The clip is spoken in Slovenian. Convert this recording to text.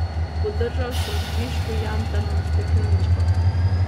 Podržal sem kvišku jantarno stekleničko.